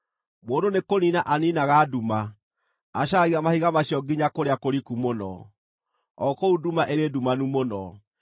Mũndũ nĩkũniina aniinaga nduma; acaragia mahiga macio nginya kũrĩa kũriku mũno, o kũu nduma ĩrĩ ndumanu mũno.